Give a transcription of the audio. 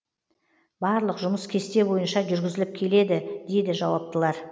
барлық жұмыс кесте бойынша жүргізіліп келеді дейді жауаптылар